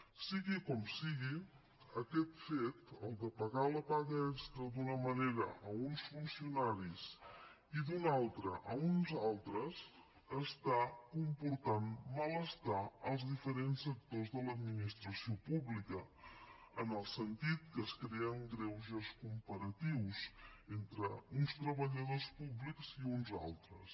sigui com sigui aquest fet el de pagar la paga extra d’una manera a uns funcionaris i d’una altra a uns altres està comportant malestar als diferents sectors de l’administració pública en el sentit que es creen greuges comparatius entre uns treballadors públics i uns altres